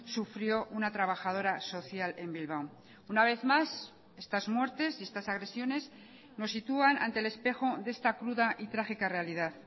sufrió una trabajadora social en bilbao una vez más estas muertes y estas agresiones nos sitúan ante el espejo de esta cruda y trágica realidad